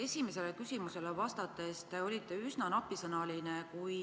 Esimesele küsimusele vastates te olite üsna napisõnaline.